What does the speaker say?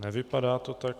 Nevypadá to tak.